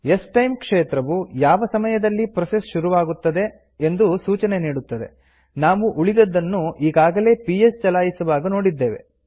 ಸ್ಟೈಮ್ ಕ್ಷೇತ್ರವು ಯಾವ ಸಮಯದಲ್ಲಿ ಪ್ರೋಸೆಸ್ ಶುರುವಾಗುತ್ತದೆ ಎಂಬ ಸೂಚನೆ ನೀಡುತ್ತದೆ ನಾವು ಉಳಿದದನ್ನು ಈಗಾಗಲೇ ಪಿಎಸ್ ಚಲಾಯಿಸುವಾಗ ನೋಡಿದ್ದೇವೆ